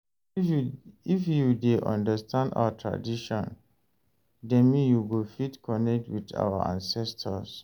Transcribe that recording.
If you dey understand our tradition dem, you go fit connect with our ancestors.